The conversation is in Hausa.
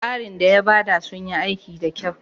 tsarin da yabada sunyi aiki da kyau.